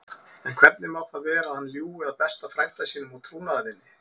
En hvernig má það vera að hann ljúgi að besta frænda sínum og trúnaðarvini?